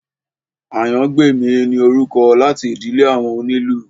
Àyàngbèmí ni orúkọ láti ìdílé àwọn onílù